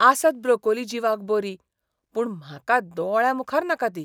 आसत ब्रोकोली जिवाक बरी, पूण म्हाका दोळ्यामुखार नाका ती.